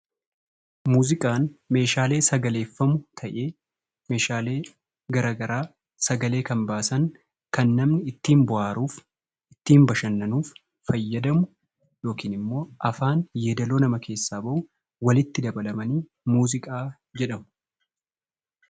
Muuziqaan Meeshaalee sagaleeffamu ta'ee Meeshaalee garaagaraa sagalee kan baasan kan namni ittiin bohaaruuf, ittiin bashannanuuf fayyadamu, yookaan immoo yaadaloo afaan keessaa bahuun walitti dabalanii muuziqaa jedhama.